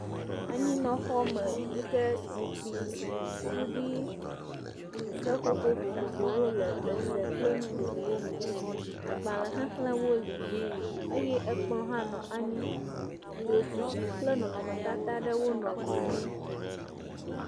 Anyinɔxɔme yi ke zikpui, suɖui, seƒoƒo vovovowo le eze kple nu vovovowo me. Agbalẽ xexlẽwo li eye kplɔ̃ hã nɔ anyi, dzosisi kple nɔnɔmetata aɖewo nɔ gli ŋu.